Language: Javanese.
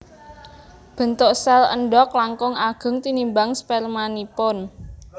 Bentuk sèl endhog langkung ageng tinimbang spermanipun